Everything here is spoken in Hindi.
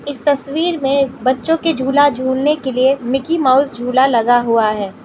इस तस्वीर में बच्चों के झूला झूलने के लिए मिकी माउस झूला लगा हुआ है।